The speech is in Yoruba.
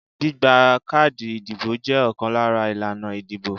Gbígba káàdì ìdìbò jẹ́ ọ̀kan lára ìlànà ìdìbò.